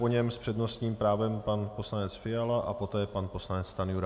Po něm s přednostním právem pan poslanec Fiala a poté pan poslanec Stanjura.